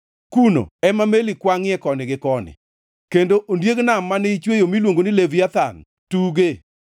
Kuno ema meli kwangʼie koni gi koni, kendo ondieg nam mane ichweyo miluongo ni Leviathan tuge.